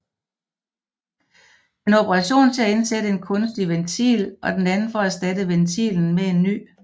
En operation til at indsætte en kunstig ventil og den anden for at erstatte ventilen med en ny